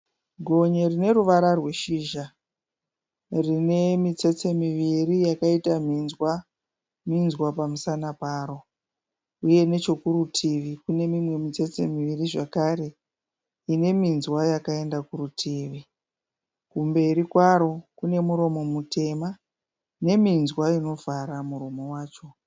Gonye rineruvara rweshizha rinemitsetse miviri yakaita minzwa minzwa pamusana paro, uye nechekurutivi kune imwe mitsetse miviri zvekare ine minzwa yakaenda kurutivi, kumberi kwaro kune muromo mutema neminzwavinovhara muromo wacho.